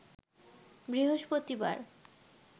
বৃহস্পতিবার